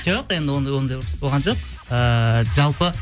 жоқ енді ондай болған жоқ ііі жалпы